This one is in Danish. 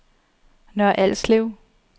Nørre Alslev